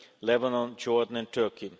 Syria, Lebanon, Jordan and Turkey.